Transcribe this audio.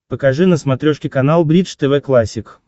покажи на смотрешке канал бридж тв классик